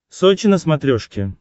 сочи на смотрешке